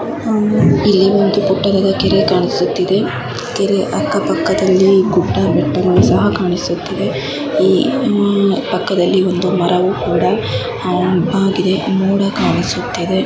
ಹ್ಮ್ಮ್ ಇಲ್ಲಿ ಪುಟ್ಟದಾದ ಒಂದು ಕೆರೆ ಕಾಣಿಸುತ್ತಿದೆ ಕೆರೆ ಅಕ್ಕ ಪಕ್ಕದಲ್ಲಿ ಗುಡ್ಡ ಬೆಟ್ಟಗಳು ಸಹ ಕಾಣಿಸುತ್ತಿದೆ ಈ ಆಹ್ ಪಕ್ಕದಲ್ಲಿ ಒಂದು ಮರವು ಕೂಡಾ ಆಹ್ ಬಾಗಿದೆ ಮೋಡ ಕಾಣಿಸುತ್ತಿದೆ.